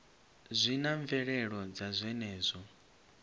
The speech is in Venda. zwi na mvelelo dza zwenezwo